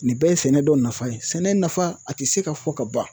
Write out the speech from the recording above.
Nin bɛɛ ye sɛnɛ dɔ nafa ye. Sɛnɛ nafa a ti se ka fɔ ka ban.